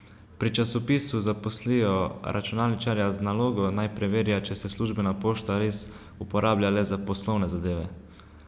Pri časopisu zaposlijo računalničarja z nalogo, naj preverja, če se službena pošta res uporablja le za poslovne zadeve.